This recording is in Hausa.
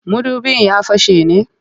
Mudubin ya fashe ne?